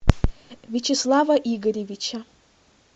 вячеслава игоревича